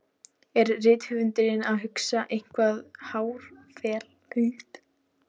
Er rithöfundurinn að hugsa eitthvað háfleygt?